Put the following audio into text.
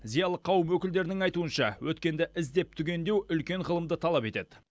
зиялы қауым өкілдерінің айтуынша өткенді іздеп түгендеу үлкен ғылымды талап етеді